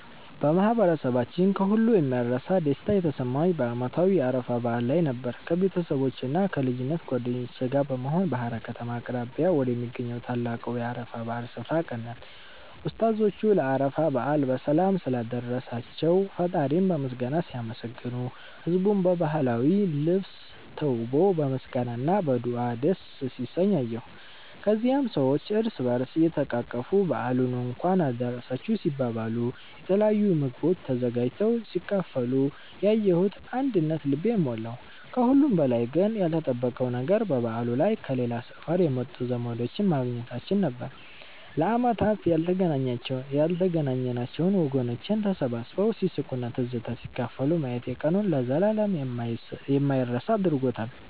በማህበረሰባችን ከሁሉ የማይረሳ ደስታ የተሰማኝ በዓመታዊው የአረፋ በዓል ላይ ነበር። ከቤተሰቦቼና ከልጅነት ጓደኞቼ ጋር በመሆን በሃራ ከተማ አቅራቢያ ወደሚገኘው ታላቁ የአረፋ በዓል ስፍራ አቀናን። ኡስታዞቹ ለአረፋ በዓል በሰላም ስላደረሳቸው ፈጣሪን በምስጋና ሲያመሰግኑ፣ ህዝቡም በባህላዊ ልብስ ተውቦ በምስጋና እና በዱዓ ደስ ሲሰኝ አየሁ። ከዚያም ሰዎች እርስ በእርስ እየተቃቀፉ በዓሉን እንኳን አደረሳችሁ ሲባባሉ፣ የተለያዩ ምግቦች ተዘጋጅተው ሲካፈሉ ያየሁት አንድነት ልቤን ሞላው። ከሁሉም በላይ ግን ያልተጠበቀው ነገር በበዓሉ ላይ ከሌላ ሰፈር የመጡ ዘመዶቼን ማግኘታችን ነበር፤ ለዓመታት ያልተገናኘነው ወገኖቼን ተሰባስበው ሲስቁና ትዝታ ሲካፈሉ ማየቴ ቀኑን ለዘላለም የማይረሳ አድርጎታል።